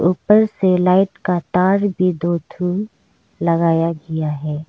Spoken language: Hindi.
ऊपर से लाइट का तार भी दो ठो लगाया गया है।